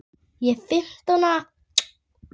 Ég er fimmtán ára.